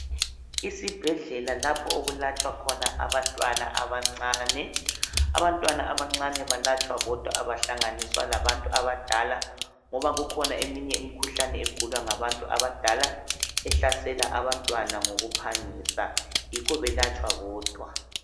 Isibhedlela lapho okulatshwa khona abantwana abancane. Abantwana abancane balatshwa bodwa abahlanganiswa labantu abadala ngoba kukhona eminye imikhuhlane egulwa ngabantu abadala ehlasela abantwana ngokuphangisa, yikho belatshwa bodwa.